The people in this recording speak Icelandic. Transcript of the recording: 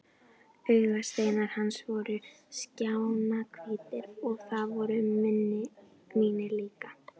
Augasteinar hans voru skjannahvítir og það voru mínir líka.